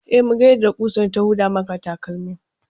E, muga yadda ƙusar ta huda maka takalmin.